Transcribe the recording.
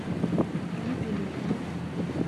юбилейным